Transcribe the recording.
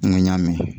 N ko n y'a mɛn